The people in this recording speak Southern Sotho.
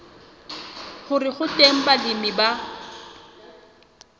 hore ho teng balemi ba